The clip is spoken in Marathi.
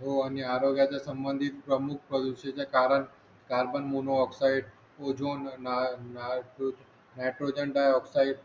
हो आणि आरोग्याच्या संबंधी प्रमुख प्रदूषणाच कारण carbon monoxide ozone ni nitro nitrogen डाय ऑक्साईड